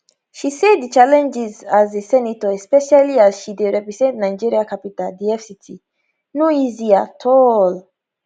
she say di challenges as a senator especially as she dey represent nigeria capital di fct no easy at all